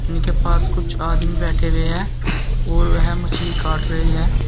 उनके पास कुछ आदमी बैठे हुए हैं और वह मछली काट रहे है।